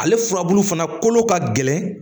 Ale furabulu fana kolo ka gɛlɛn